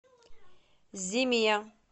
зиме